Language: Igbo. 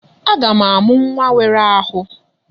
Aga m amụ nwa nwere ahụ.